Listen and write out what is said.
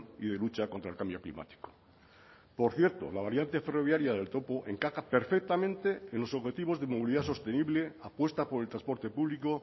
y de lucha contra el cambio climático por cierto la variante ferroviaria del topo encaja perfectamente en los objetivos de movilidad sostenible apuesta por el transporte público